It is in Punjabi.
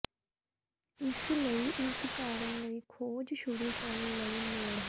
ਇਸ ਲਈ ਇਸ ਕਾਰਨ ਲਈ ਖੋਜ ਸ਼ੁਰੂ ਕਰਨ ਲਈ ਲੋੜ ਹੈ